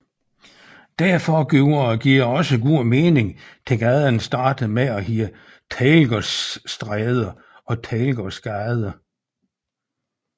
Derfor giver det også god mening at gaden startede med at hedde Teglgaardsstæde og Teglgaardgade